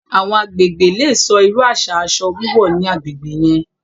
Awọn agbègbè lè sọ̀ irú aṣa aṣọ wíwọ̀ ní agbègbè yẹn